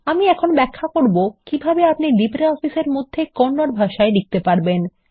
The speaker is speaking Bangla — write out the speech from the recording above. আমি এখন ব্যাখ্যা করব কিভাবে আপনি LibreOfficeএর মধ্যে কন্নড ভাষায় লিখত পারবেন